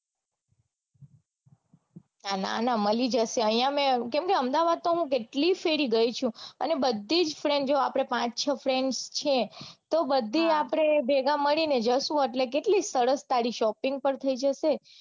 ના ના મળી જશે અઇયા મેં કેમ કે અમદાવાદ તો મેં કેટલી ફેર ગઈ છું અને બધી જ friend જો આપડે પાંચ છ friend છે તો એટલે આપડે ભેગા મળીને જઈસુ કેટલી સરસ તારી shopping પણ થઇ જશે